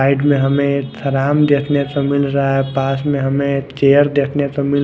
side में हमे एक थराम देखने को मिल रहा है पास में हमे एक चेयर देखने को मिल--